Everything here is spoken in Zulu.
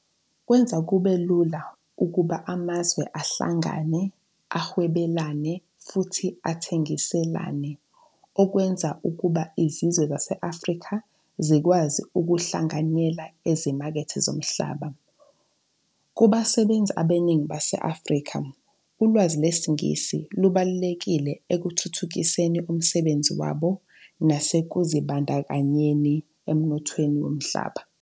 Kwenza kube lula ukuba amazwe ahlangane, ahwebelane, futhi athengiselane, okwenza ukuba izizwe zase-Afrika zikwazi ukuhlanganyela ezimakethe zomhlaba. Kubasebenzi abaningi base-Afrika, ulwazi lwesiNgisi lubalulekile ekuthuthukiseni umsebenzi wabo nasekuzibandakanyeni emnothweni womhlaba.